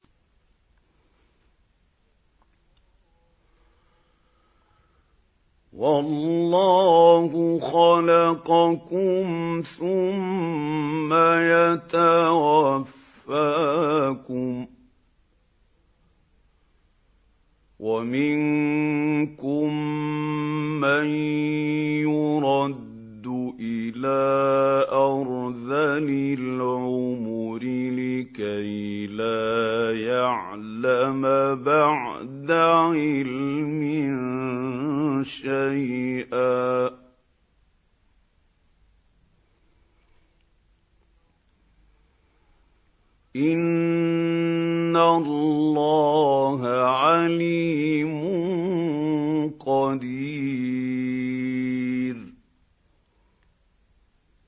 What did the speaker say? وَاللَّهُ خَلَقَكُمْ ثُمَّ يَتَوَفَّاكُمْ ۚ وَمِنكُم مَّن يُرَدُّ إِلَىٰ أَرْذَلِ الْعُمُرِ لِكَيْ لَا يَعْلَمَ بَعْدَ عِلْمٍ شَيْئًا ۚ إِنَّ اللَّهَ عَلِيمٌ قَدِيرٌ